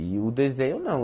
E o desenho não.